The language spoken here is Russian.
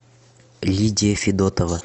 лидия федотова